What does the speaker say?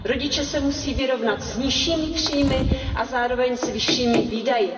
Rodiče se musí vyrovnat s nižšími příjmy a zároveň s vyššími výdaji.